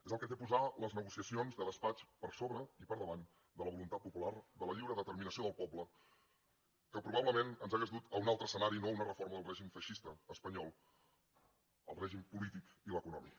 és el que té posar les negociacions de despatx per sobre i per davant de la voluntat popular de la lliure determinació del poble que probablement ens hauria dut a un altre escenari no a una reforma del règim feixista espanyol el règim polític i l’econòmic